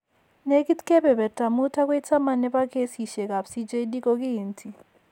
Negit kepeperta 5 akoi 10 ne po keesisiekap CJD ko kiinti.